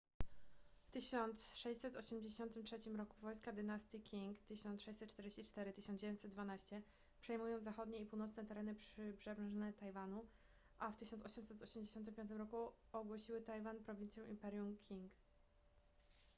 w 1683 roku wojska dynastii qing 1644-1912 przejmują zachodnie i północne tereny przybrzeżne tajwanu a w 1885 roku ogłosiły tajwan prowincją imperium qing